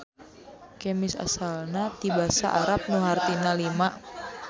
Kemis asalna ti basa Arab nu hartina lima.